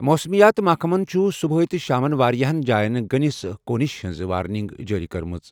موسمیات محکمَن چھُ صُبحٲے تہٕ شامَس واریٛاہَن جایَن گٔنِس کوٗنِش ہِنٛز وارننگ جٲری کٔرمٕژ۔